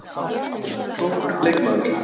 Hann er mjög klókur leikmaður